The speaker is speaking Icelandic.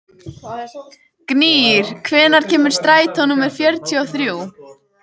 Gnýr, hvenær kemur strætó númer fjörutíu og þrjú?